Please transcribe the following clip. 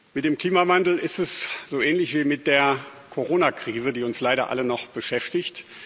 Mit dem Klimawandel ist es so ähnlich wie mit der Corona Krise, die uns leider alle noch beschäftigt.